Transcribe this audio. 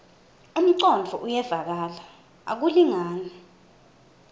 umcondvo uyevakala akulingani